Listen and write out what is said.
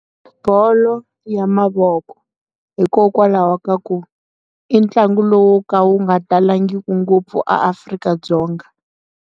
Bolo ya mavoko hikokwalaho ka ku i ntlangu lowu ka wu nga talangiki ngopfu eAfrika-Dzonga.